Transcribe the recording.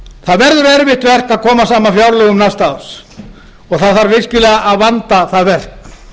það verður erfitt verk að koma saman fjárlögum næsta árs og það þarf virkilega að vanda það verk